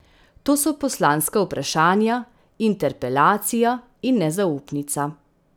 To so poslanska vprašanja, interpelacija in nezaupnica.